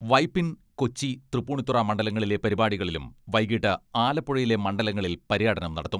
വൈപ്പിൻ, കൊച്ചി, തൃപ്പൂണിത്തുറ മണ്ഡലങ്ങളിലെ പരിപാടികളിലും വൈകിട്ട് ആലപ്പുഴയിലെ മണ്ഡലങ്ങളിൽ പര്യടനം നടത്തും.